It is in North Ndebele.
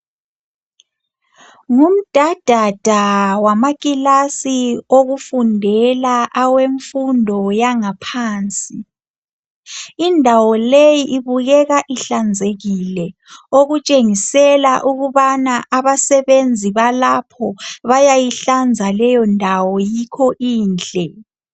Ngumdadada wamakilasi okufundela awemfundo yangaphansi. Indawo leyi ibukeka ihlanzekile okutshengisela ukubana abasebenzi balapho bayayihlanza leyondawo yikho inhle.